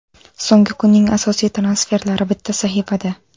So‘nggi kunning asosiy transferlari bitta sahifada.